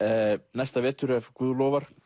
næsta vetur ef Guð lofar